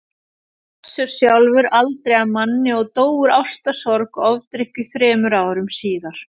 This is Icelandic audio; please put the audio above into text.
Össur sjálfur aldrei að manni og dó úr ástarsorg og ofdrykkju þremur árum síðar.